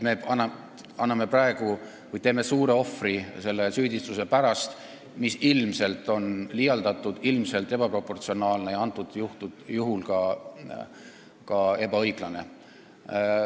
Nii et me toome suure ohvri selle süüdistuse pärast, mis on ilmselt liialdatud, ilmselt ebaproportsionaalne ja praegusel juhul ka ebaõiglane.